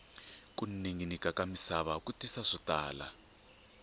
ku ninginika ka misava ku tisa swo tala